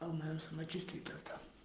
о моем самочувствии так то